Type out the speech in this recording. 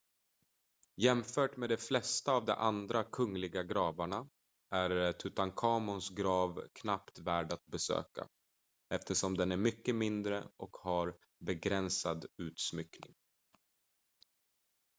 jämfört med de flesta av de andra kungliga gravarna är tutankhamons grav knappt värd att besöka eftersom den är mycket mindre och har begränsad utsmyckning